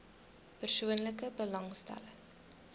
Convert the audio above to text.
persoonlike belasting